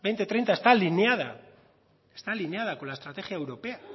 dos mil treinta está alineada está alineada con la estrategia europea